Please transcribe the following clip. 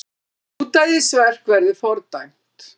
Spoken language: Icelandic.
Ódæðisverk verði fordæmt